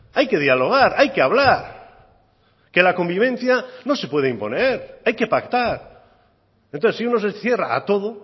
hay que dialogar hay que hablar que la convivencia no se puede imponer hay que pactar entonces si uno se cierra a todo